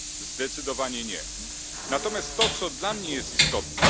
Zdecydowanie nie. Natomiast co dla mnie jest istotne?